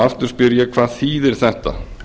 aftur spyr ég hvað þýðir þetta